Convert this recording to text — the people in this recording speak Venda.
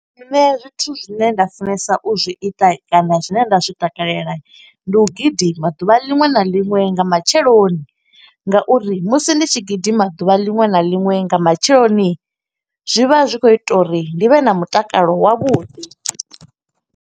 Nṋe zwithu zwine nda funesa u zwi ita kana zwine nda zwi takalela. Ndi u gidima ḓuvha liṅwe na liṅwe nga matsheloni. Nga uri musi ndi tshi gidima ḓuvha liṅwe na liṅwe nga matsheloni, zwi vha zwi khou ita uri ndi vhe na mutakalo wavhuḓi.